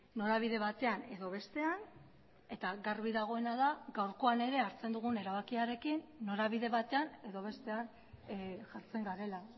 norabide batean edo bestean eta garbi dagoena da gaurkoan ere hartzen dugun erabakiarekin norabide batean edo bestean jartzen garela